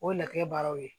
O ye latigɛ baaraw ye